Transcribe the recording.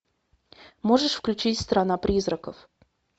можешь включить страна призраков